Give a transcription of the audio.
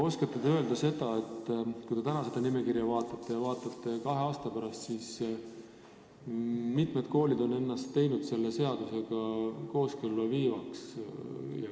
Oskate te aga öelda, et kui te vaatate seda nimekirja täna ja kahe aasta pärast, siis mida te näete, kui mitu kooli on ennast selle seadusega kooskõlla viinud?